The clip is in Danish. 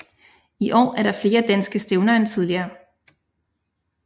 I år er der flere danske stævner end tidligere